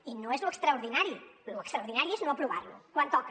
i no és lo extraordinari lo extraordinari és no aprovar lo quan toca